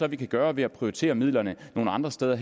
vi kan gøre ved at prioritere midlerne til nogle andre steder